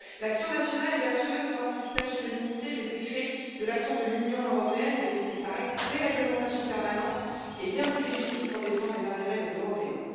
L'action nationale est vertueuse lorsqu'il s'agit de limiter les effets de l'action de l'Union européenne et de sa déréglementation permanente, et bien plus légitime pour défendre les intérêts des Européens.